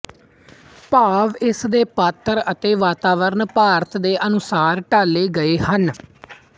ਭਾਵ ਇਸ ਦੇ ਪਾਤਰ ਅਤੇ ਵਾਤਾਵਰਨ ਭਾਰਤ ਦੇ ਅਨੁਸਾਰ ਢਾਲੇ ਗਏ ਹਨ